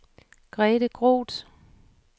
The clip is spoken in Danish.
Grete Groth